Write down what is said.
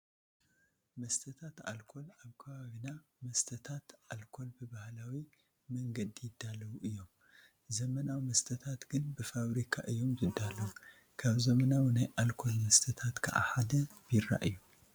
መስተታት ኣልኮል-ኣብ ከባቢና መስተታት ኣልኮል ብባህላዊ መንገዲ ይዳለዉ እዮም፡፡ ዘመናዊ መስተታት ግን ብፋብሪካ እዮም ዝዳለዉ፡፡ ካብ ዘመናዊ ናይ ኣልኮል መስተታት ከዓ ሓደ ቢራ እዩ፡፡